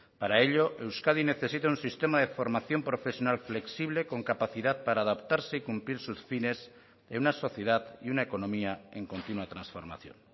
para ello euskadi necesita un sistema de formación profesional flexible con capacidad para adaptarse y cumplir sus fines en una sociedad y una economía en continua transformación